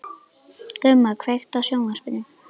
Gumma, kveiktu á sjónvarpinu.